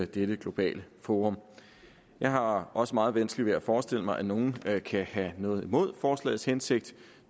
dette globale forum jeg har også meget vanskeligt ved at forestille mig at nogen kan have noget imod forslagets hensigt